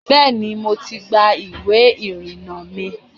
Bẹ́ẹ̀ni, mo ti gba ìwé ìrìnnà mi.